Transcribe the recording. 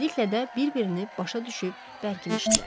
Tezliklə də bir-birini başa düşüb bərkimişdilər.